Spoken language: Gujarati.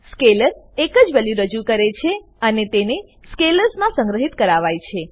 સ્કેલર એકજ વેલ્યુ રજૂ કરે છે અને તેને સ્કેલર્સ મા સંગ્રહિત કરવાય છે